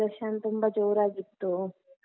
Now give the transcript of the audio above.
celebration ತುಂಬಾ ಜೋರಾಗಿತ್ತು.